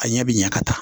A ɲɛ bɛ ɲɛ ka taa